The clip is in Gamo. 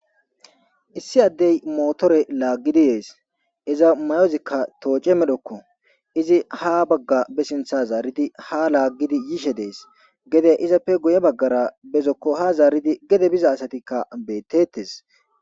issi addey mootore laaggidi yees iza mayozikka tooce medhokko izi ha bagga be sintha zaaridi ha laaggidi yishe dees gede izappe guye baggara bezokko ha zaaridi gede biza asatikka beettettes